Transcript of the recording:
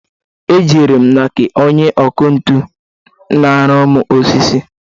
E jere m na nke onye ọkụ ntu na-arụru m osisi.